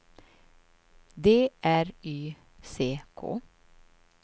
D R Y C K